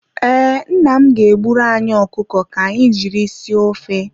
Ee, nna m ga-egburu anyị ọkụkọ ka anyị jiri sie ofe.